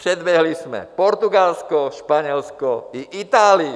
Předběhli jsme Portugalsko, Španělsko i Itálii.